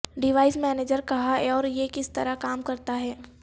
device manager کہاں ہے اور یہ کس طرح کام کرتا ہے